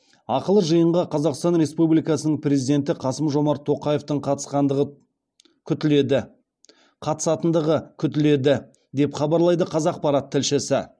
ақылы жиынға қазақстан республикасының президенті қасым жомарт тоқаевтың қатысатындығы күтіледі деп хабарлайды қазақпарат тілшісі